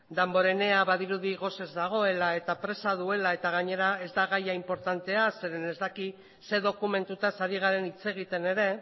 damborenea badirudi gosez dagoela eta presa duela eta gainera ez da gaia inportantea zeren ez daki ze dokumentutaz ari garen hitz egiten ere